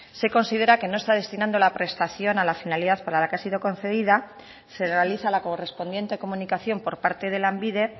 se considera que no está destinando la prestación a la finalidad para la que ha sido concedida se realiza la correspondiente comunicación por parte de lanbide